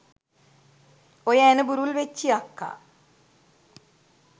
ඔය ඇණ බුරුල් වෙච්චි අක්කා